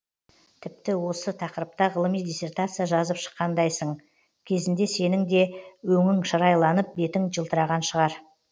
тіпті осы тақырыпта ғылыми диссертация жазып шыққандайсың кезінде сенің де өңің шырайланып бетің жылтыраған шығар